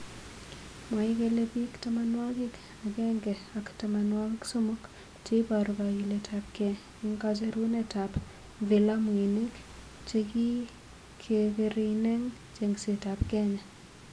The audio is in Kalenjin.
mwae kele bik tamwanwakik akemge ak tamanwakik somok cheiboru kakilet ab kei eng kacherunet ab vilamuinik chekikereineng chengset ab kenya.